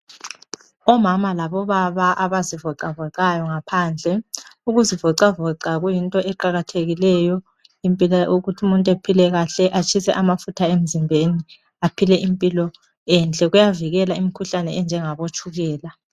Omama labobaba abazivocavoca ngaphandle. Ukuzivocavoca uyinto eqakathekileyo, ukuthi umuntu aphile kahle, atshise amafutha emzimbeni, aphille imphilo enhle. Kuyavikela imikhuhlane enjengabo tshukela.